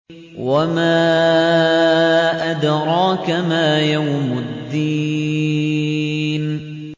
وَمَا أَدْرَاكَ مَا يَوْمُ الدِّينِ